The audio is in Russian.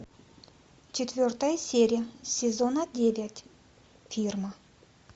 четвертая серия сезона девять фирма